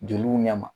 Joliw ɲɛ ma